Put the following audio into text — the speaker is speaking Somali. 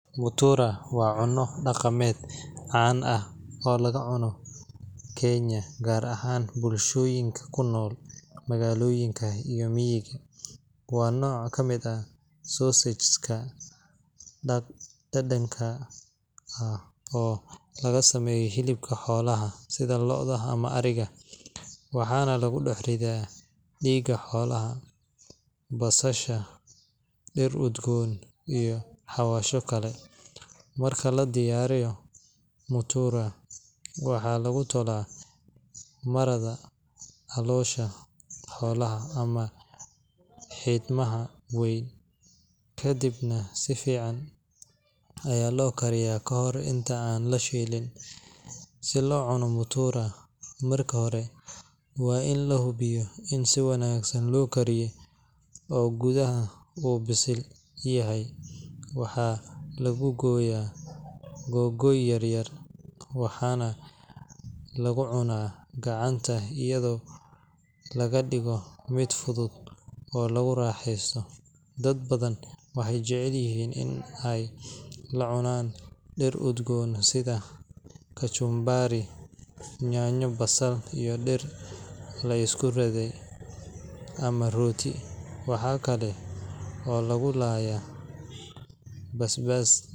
mutura waa cunto daqameed oo laga cuno kenya gaar ahaan bulshooyinka kunool magaaloyinka iyo miiga, waa nooc kamid ah sausage dadanka ah oo laga sameeyo hilibka xoolaha si looda ama ariga, waxaana lagu dex ridaa diiga xoolaha, basasha, dir udgoon iyo xawasho kale, marka ladiyaariyo, waxaa lagu tolaa marada caloosha xoolaha ama xidmaha, kadibna si fican ayaa loo kariyaa kahore intaan lashiilin, si loo cuno mutura marka hore waa in lahubiyo in si wanagsan loo kariye oo gudaha bisil kayahay, waxaa lagu gooya goygoy yaryar waxaana lagu cunaa gacanta ayado laga digo mid fudud oo lagu raaxesato, dad badan waxeey jecel yihiin in aay lacunaan dir udgoon sida kajumbaari, nyanyo, basal iyo dir laisku riday ama rooti, waxaa kale oo lagu laaya basbaas.